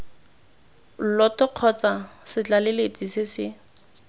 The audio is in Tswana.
lloto kgotsa setlaleletsi se se